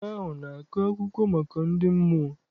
Nwoke ahụ na-akọ akụkọ maka ndị mmụọ.